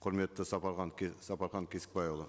құрметті сапархан сапархан кесікбайұлы